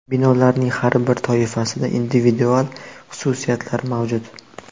Binolarning har bir toifasida individual xususiyatlari mavjud.